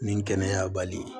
Nin kɛnɛya bali